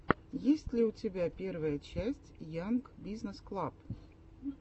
есть ли у тебя первая часть янг бизнесс клаб